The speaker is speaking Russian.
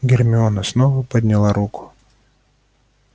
гермиона снова подняла руку